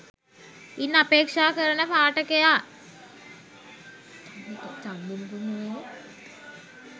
ඉන් අපේක්ෂා කෙරෙන පාඨකයා